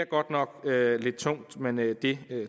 godt nok lidt tungt men det det